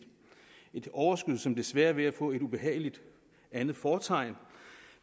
et overskud som desværre er ved at få et ubehageligt andet fortegn